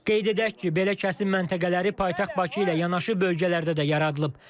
Qeyd edək ki, belə kəsim məntəqələri paytaxt Bakı ilə yanaşı, bölgələrdə də yaradılıb.